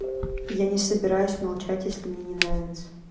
я не собираюсь молчать если мне не нравится